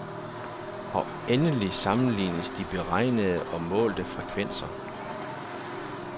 Og endelig sammenlignes de beregnede og målte frekvenser.